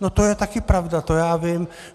- No, to je taky pravda, to já vím.